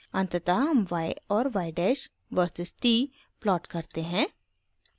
अंततः हम y और y dash versus t plot करते हैं